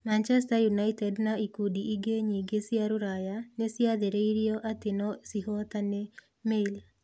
Manchester United na ikundi ingĩ nyingĩ cia rũraya nĩ ciathĩrĩirio atĩ no ciĩhotane (Mail).